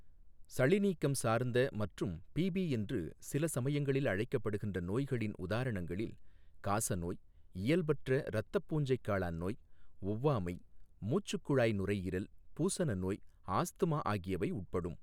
சளிநீக்கம் சார்ந்த மற்றும் பிபி என்று சில சமயங்களில் அழைக்கப்படுகிற நோய்களின் உதாரணங்களில் காசநோய், இயல்பற்ற இரத்தப் பூஞ்சைக்காளான் நோய், ஒவ்வாமை மூச்சுக்குழாய் நுரையீரல் பூசனநோய், ஆஸ்துமா ஆகியவை உட்படும்.